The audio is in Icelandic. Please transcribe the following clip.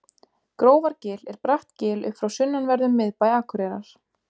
grófargil er bratt gil upp frá sunnanverðum miðbæ akureyrar